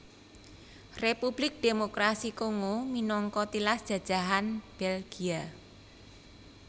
Republik Démokrasi Kongo minangka tilas jajahan Belgia